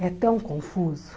É tão confuso.